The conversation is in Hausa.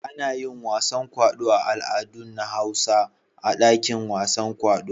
Ana yin wasan kwaɗo da al'adun na Hausa a dakin wasan kwaɗo.